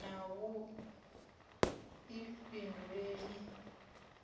na vhuifhinduleli